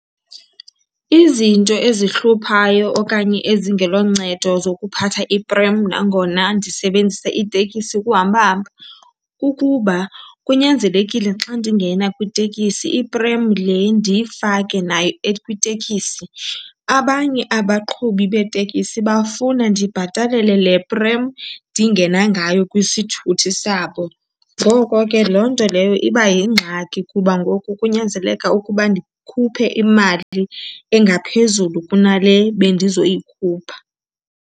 Izinto ezihluphayo okanye ezingeloncedo zokuphatha iprem nangona ndisebenzisa itekisi ukuhamba hamba kukuba kunyanzelekile xa ndingena kwitekisi iprem le ndiyifake nayo kwitekisi. Abanye abaqhubi beetekisi bafuna ndibhatalele le prem ndingena ngayo kwisithuthi sabo. Ngoko ke loo nto leyo iba yingxaki kuba ngoku kunyanzeleka ukuba ndikhuphe imali engaphezulu kunale bendizoyikhupha.